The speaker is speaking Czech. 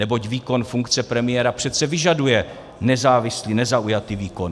Neboť výkon funkce premiéra přece vyžaduje nezávislý, nezaujatý výkon.